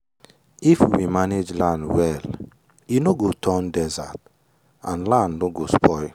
if we manage land well e no go turn desert and land no go spoil.